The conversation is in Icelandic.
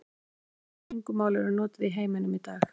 Hversu mörg tungumál eru notuð í heiminum í dag?